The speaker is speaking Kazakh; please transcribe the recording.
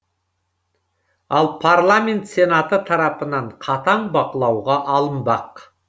ал парламент сенаты тарапынан қатаң бақылауға алынбақ